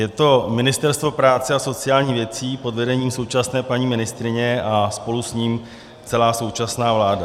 Je to Ministerstvo práce a sociálních věcí pod vedením současné paní ministryně a spolu s ním celá současná vláda.